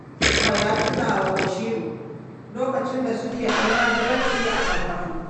Garba ya tuna wa Basiru lokacin da suke almajiranci a Sakkwato